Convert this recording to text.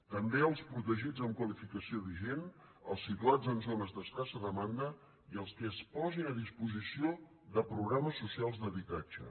també els protegits amb qualificació vigent els situats en zones d’escassa demanda i els que es posin a disposició de programes socials d’habitatge